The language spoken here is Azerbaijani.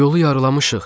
Yolu yarılamışıq.